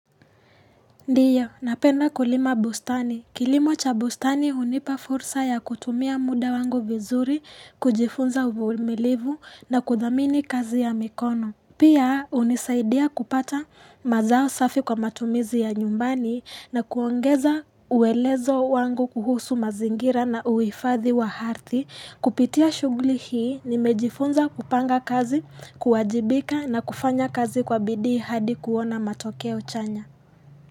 Ndio, napenda kulima bustani. Kilimo cha bustani hunipa fursa ya kutumia muda wangu vizuri, kujifunza uvumilivu na kuthamini kazi ya mikono. Pia hunisaidia kupata mazao safi kwa matumizi ya nyumbani na kuongeza uelezo wangu kuhusu mazingira na uhifadhi wa ardhi. Kupitia shughuli hii nimejifunza kupanga kazi, kuwajibika na kufanya kazi kwa bidii hadi kuona matokeo chanya.